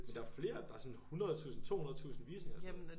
Men der flere der har sådan 100 tusinde 200 tusinde visninger og sådan noget